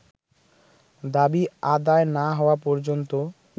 দাবি আদায় না হওয়া পর্যন্ত